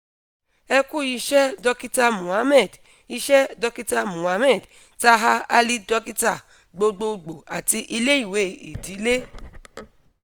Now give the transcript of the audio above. ẹ ku iṣẹ dokita mohammed iṣẹ dokita mohammed taher ali dokita gbogbogbo ati ile-iwe idile